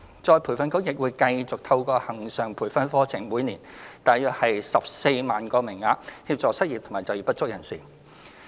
再培訓局亦會繼續透過恆常培訓課程的每年約14萬個名額，協助失業及就業不足人士。